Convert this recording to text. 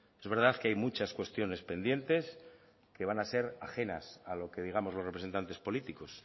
es verdad que hay muchas cuestiones pendientes que van a ser ajenas a lo que digamos los representantes políticos